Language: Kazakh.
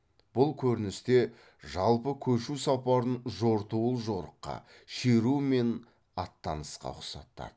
бұл көріністе жалпы көшу сапарын жортуыл жорыққа шеру мен аттанысқа ұқсатады